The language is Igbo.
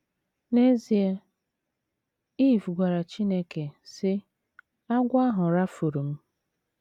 N’ezie, Iv gwara Chineke, sị: ‘ Agwọ ahụ rafuru m. ’